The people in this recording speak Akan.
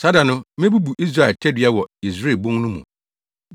Saa da no, mebubu Israel tadua wɔ Yesreel bon no mu.”